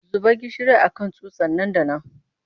Zuba gishiri a kan tsutsa nan da nan!